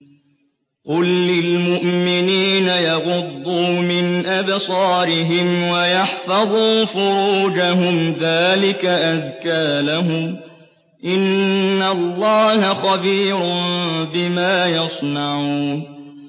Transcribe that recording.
قُل لِّلْمُؤْمِنِينَ يَغُضُّوا مِنْ أَبْصَارِهِمْ وَيَحْفَظُوا فُرُوجَهُمْ ۚ ذَٰلِكَ أَزْكَىٰ لَهُمْ ۗ إِنَّ اللَّهَ خَبِيرٌ بِمَا يَصْنَعُونَ